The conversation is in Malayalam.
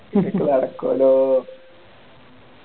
നടക്കൂവല്ലോ